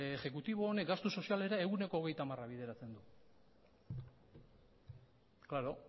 exekutibo honek gastu sozialera ehuneko hogeita hamar bideratzen du klaro